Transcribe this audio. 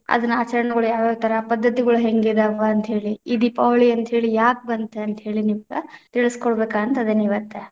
ಅದನ ಆಚರಣೆಗಳು ಯಾವ ಯಾವ ಥರಾ, ಪದ್ಧತಿಗಳು ಹೆಂಗ ಇದಾವ? ಅಂತ ಹೇಳಿ, ಈ ದೀಪಾವಳಿ ಅಂತ ಹೇಳಿ ಯಾಕ ಬಂತ? ಅಂತ ಹೇಳಿ ನಿಮ್ಗ ತಿಳಿಸಕೊಡಬೇಕ ಅಂತ ಅದೀನಿ ಇವತ್ತ.